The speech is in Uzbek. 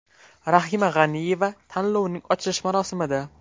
Rahima G‘aniyeva tanlovning ochilish marosimida.